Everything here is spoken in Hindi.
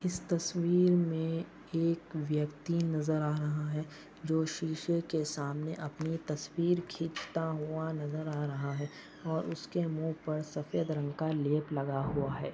इस तस्वीर मे एक व्यक्ति नजर आ रहा है जो शीशे के सामने अपनी तस्वीर खींचता हुआ नजर आ रहा है और उसके मुह पर सफेद रंग का लेप लगा हुआ है।